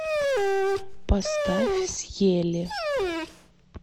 поставь съели